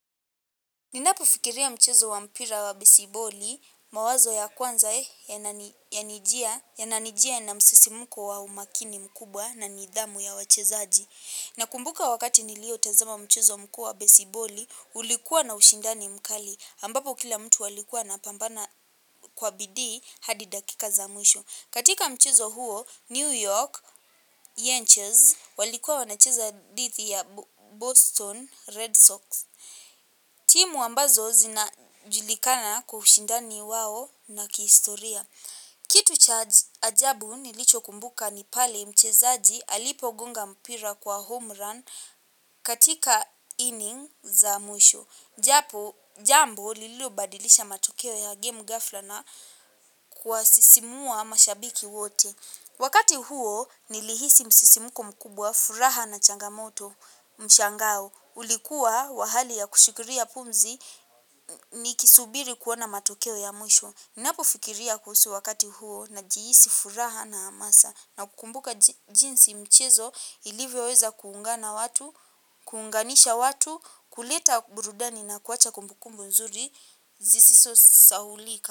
Ninapofikiria mchezo wa mpira wa besiboli mawazo ya kwanza eh yananijia na msisimko wa umakini mkubwa na nidhamu ya wachezaji. Nakumbuka wakati nilio tazama mchezo mkuu wa besiboli ulikuwa na ushindani mkali ambapo kila mtu alikua anapambana kwa bidii hadi dakika za mwisho. Katika mchezo huo, New York, Yenches, walikua wanacheza dithi ya Boston Red Sox. Timu ambazo zinajulikana kwa ushindani wao na kihistoria. Kitu cha ajabu nilicho kumbuka ni pale mchezaji alipo gonga mpira kwa homerun katika inning za mwisho. Japo jambo lilo badilisha matokeo ya game gafla na kuwasisimua mashabiki wote. Wakati huo nilihisi msisimuko mkubwa furaha na changamoto mshangao. Ulikuwa wa hali ya kushikiria pumzi nikisubiri kuona matokeo ya mwisho. Napofikiria kuhusu wakati huo najihisi furaha na amasa. Na kukumbuka jinsi mchezo ilivyo weza kuungana watu, kuunganisha watu, kuleta burudani na kuwacha kumbukumbu nzuri, zisizo saulika.